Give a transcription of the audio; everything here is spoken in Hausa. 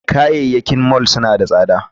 Kayayyakin mall suna tsada